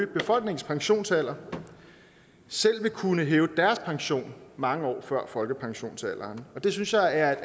befolkningens pensionsalder selv vil kunne hæve deres pension mange år før folkepensionsalderen og det synes jeg er